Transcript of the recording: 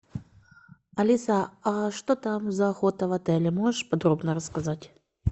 алиса а что там за охота в отеле можешь подробно рассказать